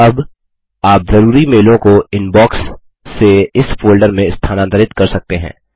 अब आप ज़रूरी मेलों को इनबॉक्स से इस फोल्डर में स्थानांतरित कर सकते हैं